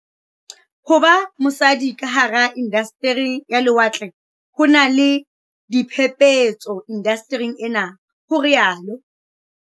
Ho ba mosadi ka hara inda steri ya lewatle ho na le "diphephetso indastering enwa" ho rialo